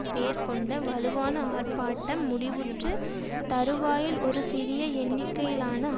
பேர் கொண்ட வலுவான ஆர்ப்பாட்டம் முடிவுற்று தறுவாயில் ஒரு சிறிய எண்ணிக்கையிலான